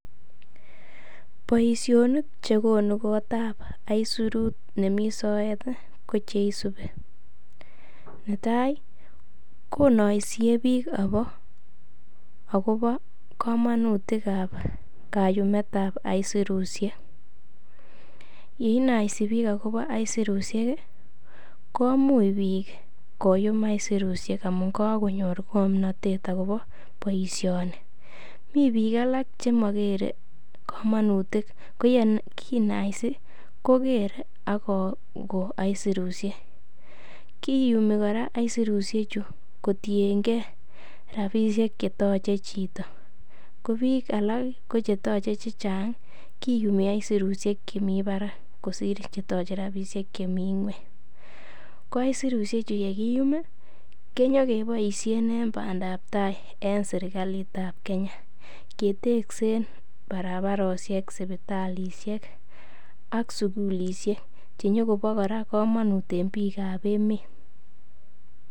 Boisionik che konu kotab aisurtu nemi soet ko che isubi: Netai konoisie iik agobo komonutik ab kayumet ab aisurushek. Ye inaisi biik agobo aisurushek komuch biik koyum aisurushek amun kagonyor ng'omnatet agoobo boisiioni. Mi biik alak chemogere komonutik ko ye kinaisi kogere ak kogon aisurushek. Kiyumi kora aisurusheju kotienge rbaishek che toche chito. KO biik alak kotoche rabishek che chang kiyumi aisurushek chemi barak kosir che toche rabishek chemi ng'weny. Ko aisurusheju y e kiyum konyokeboishen en bandap tai en serkalit ab Kenya. Keteksen barabaroshek, sipitaliek, ak sugulisiek che nyo kobo kora komonut en biik ab emet.